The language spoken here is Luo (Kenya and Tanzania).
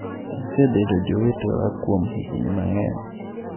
"Gisebedo jowetewa kuom higni mang'eny."""